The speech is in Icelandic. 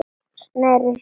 Sneri sér í heilan hring.